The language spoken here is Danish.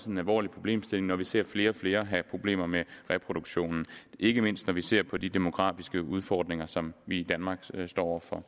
en alvorlig problemstilling hvor vi ser flere og flere have problemer med reproduktionen ikke mindst når vi ser på de demografiske udfordringer som vi står over for